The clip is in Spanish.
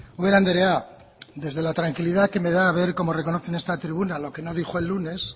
ubera andrea desde la tranquilidad que me da ver cómo reconoce en esta tribuna lo que dijo el lunes